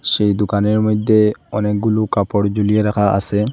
সেই দোকানের মধ্যে অনেকগুলো কাপড় ঝুলিয়ে রাখা আছে।